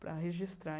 para registrar.